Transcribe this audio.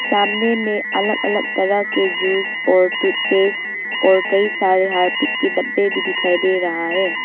सामने में अलग अलग तरह के जूस और टूथपेस्ट और कई सारे हार्पिक के डब्बे भी दिखाई दे रहा है।